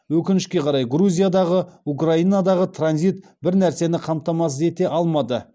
өкінішке қарай грузиядағы украинадағы транзит бір нәрсені қамтамасыз ете алмады